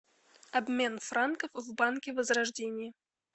обмен франков в банке возрождение